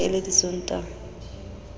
e ne e le disontaha